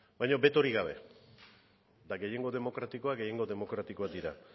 baino betorik gabe eta gehiengo demokratikoa gehiengo demokratikoak dira